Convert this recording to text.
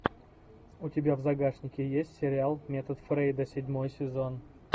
у тебя в загашнике есть сериал метод фрейда седьмой сезон